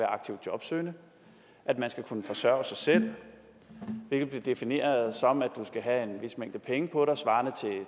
aktivt jobsøgende at man skal kunne forsørge sig selv hvilket bliver defineret som at du skal have en vis mængde penge på dig svarende